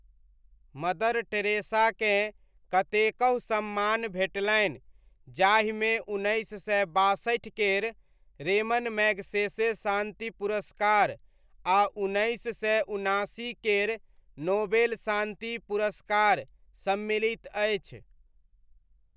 Mother टेरेसाकेँ कतेकहु सम्मान भेटलनि जाहिमे उन्नैस सय बासठि केर रेमन मैग्सेसे शान्ति पुरस्कार आ उन्नैस सय उन्नासी केर नोबेल शान्ति पुरस्कार सम्मिलित अछि।